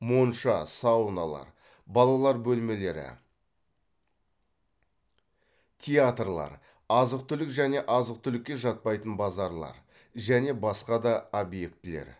монша сауналар балалар бөлмелері театрлар азық түлік және азық түлікке жатпайтын базарлар және басқа да объектілер